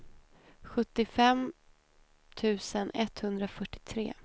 sjuttiofem tusen etthundrafyrtiotre